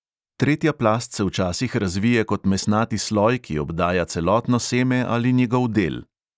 Tretja plast se včasih razvije kot mesnati sloj, ki obdaja celotno seme ali njegov del.